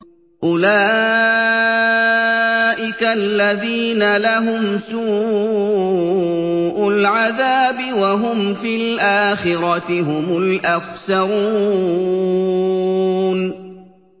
أُولَٰئِكَ الَّذِينَ لَهُمْ سُوءُ الْعَذَابِ وَهُمْ فِي الْآخِرَةِ هُمُ الْأَخْسَرُونَ